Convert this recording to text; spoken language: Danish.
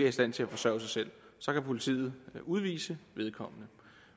i stand til at forsørge sig selv så kan politiet udvise vedkommende